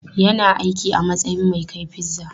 Yana aiki a matsayin mai kai pizza.